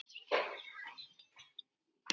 Lungun fanga feng af ást.